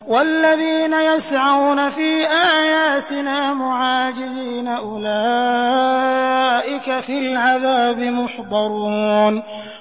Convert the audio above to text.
وَالَّذِينَ يَسْعَوْنَ فِي آيَاتِنَا مُعَاجِزِينَ أُولَٰئِكَ فِي الْعَذَابِ مُحْضَرُونَ